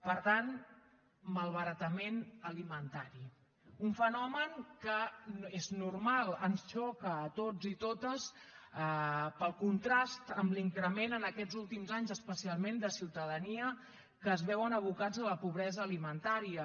per tant malbaratament alimentari un fenomen que és normal ens xoca a tots i totes pel contrast en l’increment en aquests últims anys especialment de ciutadania que es veuen abocats a la pobresa alimentària